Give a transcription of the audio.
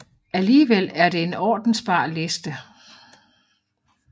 Alligevel er det en ordensbar liste